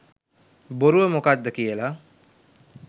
බොරුව මොකද්ද කියල.